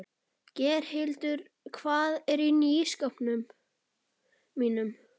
Geirhildur, hvað er á innkaupalistanum mínum?